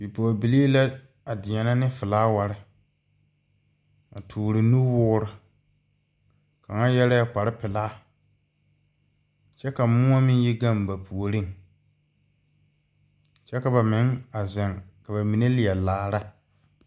Bipɔgebilii la deɛnɛ ne felaaware a toɔre nuwoore kaŋa yɛrɛɛ kparre pelaa kyɛ ka moɔ yi gaŋ ba puoriŋ kyɛ ka ba meŋ zeŋ ka ba mine leɛ laara.